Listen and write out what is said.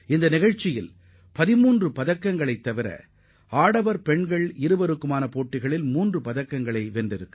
இந்தப் போட்டியில் நமக்கு 13 பதக்கங்கள் கிடைத்ததுடன் கலப்பு இரட்டையர் பிரிவிலும் மூன்று பதக்கங்கள் கிடைத்தது